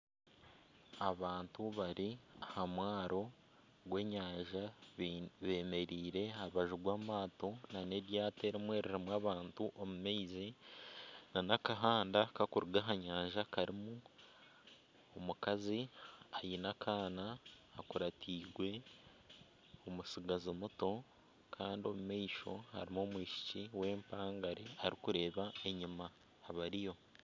Abantu bari aha mwaaro gw'enyanja bemereire aha rubaju rw'amaato nana eryaato erimwe ririmu abantu omu maizi nana akahanda kakuriga aha nyanja karimu omukazi aine akaana akuratirwe omutsigazi muto kandi omu maisho harimu omwishiki w'empangare arikureba enyima abariyo.